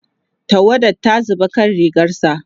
tawada ta zuba akan rigarsa